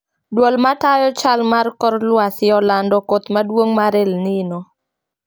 Duol matayo chal mar kor luasi olanda koth maduong mar elnino